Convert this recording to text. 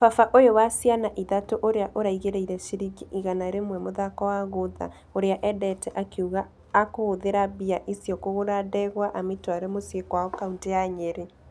Baba ũyũ wa ciana ithatũ ũrĩa ũraigĩrĩire shiringi igana rĩmwe mũthako wa guotha ũrĩa ĩndete akiuga akũhũthera mbia icio kũgũra ndegwa ametware mũcii kwao kauntĩ ya nyeri.